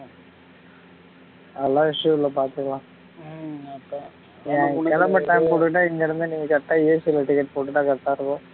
கிளம்ப time குடுத்துட்டா இங்க இருந்து நீ correct ஆ AC ல ticket போட்டுட்டா correct ஆ இருக்கும்